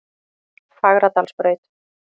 Fagradalsbraut